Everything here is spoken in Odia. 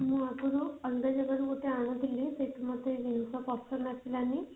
ମୁଁ ଆଗରୁ ଅଲଗା ଜାଗାରୁ ଗୋଟେ ଆଣୁଥିଲି ସେଠି ମୋତେ ଜିନିଷ ପସନ୍ଦ ଆସିଲାନି